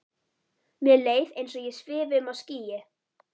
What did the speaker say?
Mér leið eins og ég svifi um á skýi.